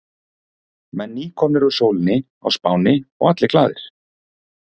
Menn nýkomnir úr sólinni á Spáni og allir glaðir.